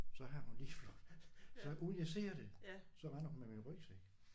Så har hun lige så uden jeg ser det så render hun med min rygsæk